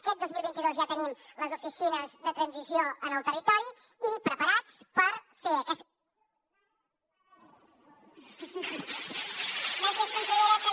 aquest dos mil vint dos ja tenim les oficines de transició en el territori i preparades per fer aquest